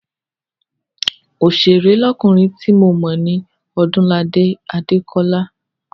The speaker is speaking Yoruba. Oṣèré lọ́kùnrin ti mo mọ̀ ní Ọdúnladé Adékọ́lá.